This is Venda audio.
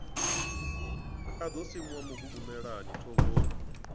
a ḓo simuwa mugugumelani thovhoni